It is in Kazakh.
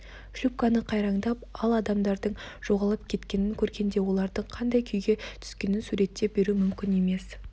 шлюпканың қайраңдап ал адамдардың жоғалып кеткенін көргенде олардың қандай күйге түскенін суреттеп беру мүмкін емес